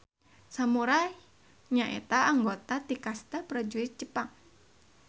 Samurai nyaeta anggota ti kasta prajurit Jepang.